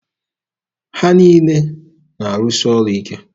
Ha niile na-arụsị ọrụ ike.